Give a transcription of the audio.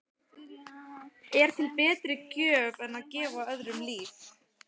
Er til betri gjöf en að gefa öðrum líf?